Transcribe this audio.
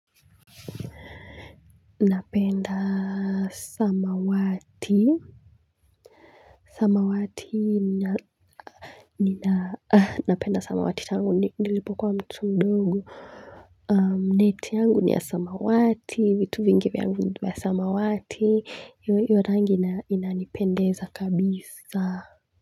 Napenda samawati, samawati nina, napenda samawati tangu nilipo kwa mtu mdogo. Neti yangu ni ya samawati, vitu vingi yangu ni vya samawati. Hivyo hio rangi inanipendeza kabisa.